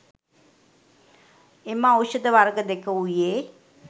එම ඖෂධ වර්ග දෙක වූයේ